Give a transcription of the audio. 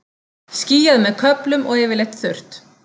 Skýjað með köflum og yfirleitt þurrt